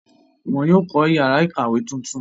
wọ́n yóò kọ́ yàrá ìkàwé tuntun.